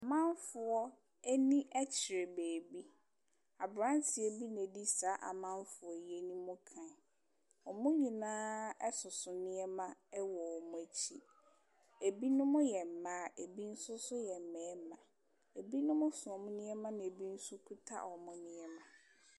Amanfoɔ ani kyerɛ baabi. Aberanteɛ bi na ɔdi saa amanfoɔ yi anim kan. Wɔn nyinaa soso nneɛma wɔ wɔn akyi. Ebinom yɛ mmaa, ɛbi nso so yɛ mmarima. Ebinom so wɔn nneɛma, ɛnna ebi nso kuta wɔn nneɛma.